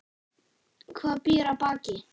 Hvað býr að baki?